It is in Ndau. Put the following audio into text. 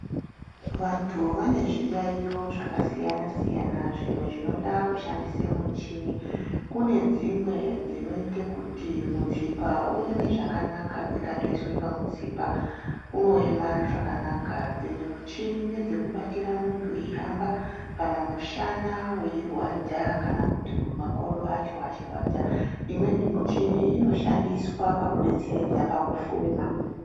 Vantu vane zviyaiyo zvakasiyana-siyana zvimwe zvinoda kushandise muchimi. Kune dzimwe dzinoite kuti mutsipa ueme zvakanaka, dzikatoiswe pamutsipa unoeme zvakanaka. Dzimwe muchini ngedzekubatira muntu eihamba lana mushana weirwadza kana kuti makodo acho achirwadza. Imweni michini inoshandiswa pakudetseredza pakufema.